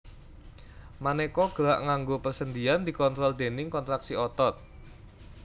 Manéka gerak nganggo persendian dikontrol déning kontraksi otot